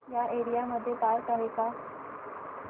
या एरिया मध्ये पार्क आहे का